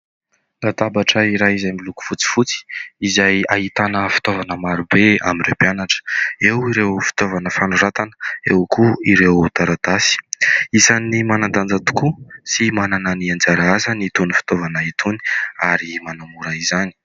Latabatra iray izay miloko fotsifotsy, izay ahitana fitaovana marobe amin'ireo mpianatra : eo ireo fitaovana fanoratana, eo koa ireo taratasy. Isan'ny manan-danja tokoa sy manana ny anjara asany itony fitaovana itony ary manamora izany.